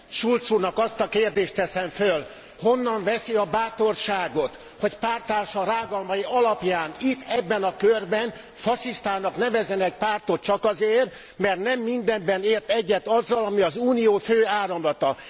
Schulz úrnak azt a kérdést teszem föl, honnan veszi a bátorságot, hogy párttársa rágalmai alapján itt, ebben a körben fasisztának nevezzen egy pártot csak azért, mert nem mindenben ért egyet azzal, ami az Unió fő áramlata.